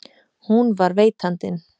Hún var veitandinn.